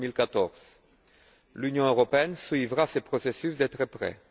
2014. L'Union européenne suivra ce processus de très près.